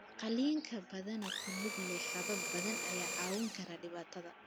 Qalliinka, badanaa ku lug leh habab badan, ayaa caawin kara dhibaatada.